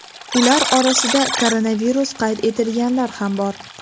Ular orasida koronavirus qayd etilganlar ham bor.